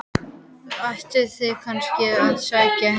Ættu þau kannski að sitja heima?